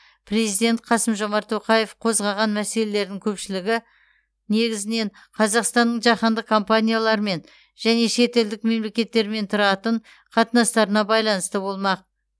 президент қасым жомарт тоқаев қозғаған мәселелердің көпшілігі негізінен қазақстанның жаһандық компаниялармен және шетелдік мемлекеттермен тұратын қатынастарына байланысты болмақ